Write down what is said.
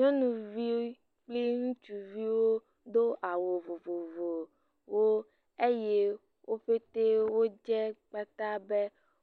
Nyɔnuvi kpli ŋutsuviwo, do awu vovovowo eye wo ƒete dze kpata be